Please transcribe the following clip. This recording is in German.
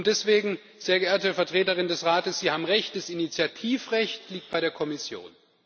Deswegen, sehr geehrte Vertreterin des Rates, Sie haben recht, das Initiativrecht liegt bei der Kommission.